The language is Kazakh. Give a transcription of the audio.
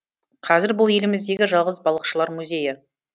қазір бұл еліміздегі жалғыз балықшылар музейі